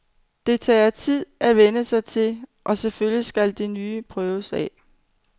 Det tager det tid at vænne sig til, og selvfølgelig skal det nye prøves af.